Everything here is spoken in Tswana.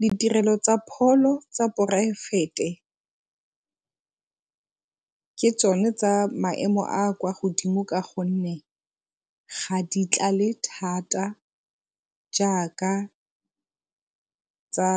Ditirelo tsa pholo tsa poraefete ke tsone tsa maemo a a kwa godimo ka gonne ga di tlale thata jaaka tsa